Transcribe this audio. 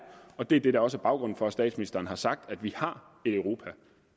og det er det der også er baggrunden for at statsministeren har sagt at vi har